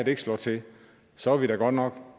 ikke slår til så er vi da godt nok